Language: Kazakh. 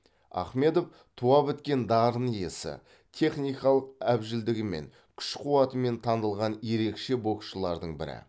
ахмедов туа біткен дарын иесі техникалық әбжілдігімен күш қуатымен танылған ерекше боксшылардың бірі